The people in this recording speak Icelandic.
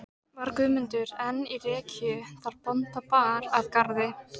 Var Guðmundur enn í rekkju þá bónda bar að garði.